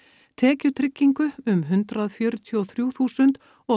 tekjutryggingu um hundrað fjörutíu og þrjú þúsund og